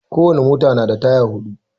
Kowane mota na da taya huɗu